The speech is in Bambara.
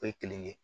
O ye kelen ye